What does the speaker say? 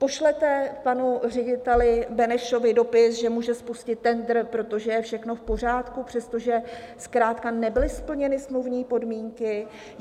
Pošlete panu řediteli Benešovi dopis, že může spustit tendr, protože je všechno v pořádku, přestože zkrátka nebyly splněny smluvní podmínky?